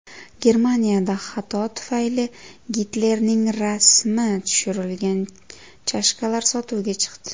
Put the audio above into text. Germaniyada xato tufayli Gitlerning rasmi tushirilgan chashkalar sotuvga chiqdi.